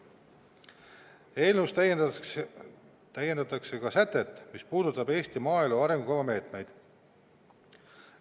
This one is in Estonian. Eelnõus täiendatakse ka sätet, mis puudutab Eesti maaelu arengukava meetmeid.